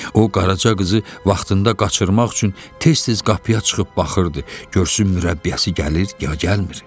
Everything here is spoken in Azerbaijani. O, Qaraca qızı vaxtında qaçırmaq üçün tez-tez qapıya çıxıb baxırdı, görsün mürəbbiyəsi gəlir ya gəlmir.